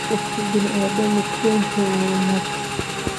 Qofki biniadamu kuwenthy wa wanag.